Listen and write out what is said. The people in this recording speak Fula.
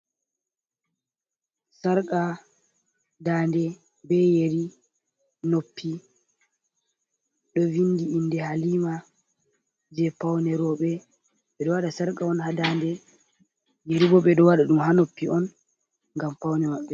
Sarqa daande be yeri noppi ɗo vindi inde Halima je paune roɓe. Ɓeɗo waɗa sarqa on ha daande, yeri bo ɓeɗo waɗa ɗum ha noppi on ngam paune maɓɓe.